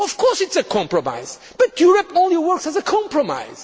programme. Of course it is a compromise, but Europe only works as a compromise.